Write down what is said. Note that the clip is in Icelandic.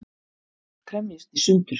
Kremjist í sundur.